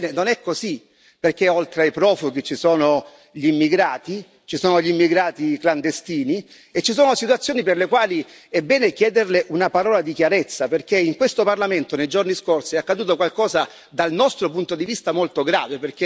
Ebbene, non è così, perché oltre ai profughi ci sono gli immigrati, ci sono gli immigrati clandestini e ci sono situazioni per le quali è bene chiederle una parola di chiarezza, perché in questo Parlamento, nei giorni scorsi è accaduto qualcosa dal nostro punto di vista molto grave.